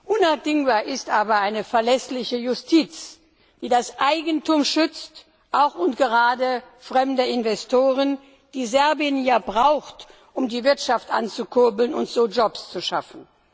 Unabdingbar ist aber eine verlässliche Justiz, die das Eigentum schützt, auch und gerade fremder Investoren, die Serbien ja braucht, um die Wirtschaft anzukurbeln und so Jobs zu schaffen.